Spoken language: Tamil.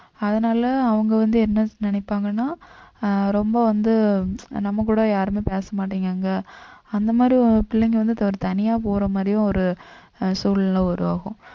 அதனால அவங்க வந்து என்ன நினைப்பாங்கன்னா ஆஹ் ரொம்ப வந்து நம்ம கூட யாருமே பேச மாட்டேங்கிறாங்க அந்த மாதிரி பிள்ளைங்க வந்து ஒரு தனியா போற மாதிரியும் ஒரு அஹ் சூழ்நிலை உருவாகும்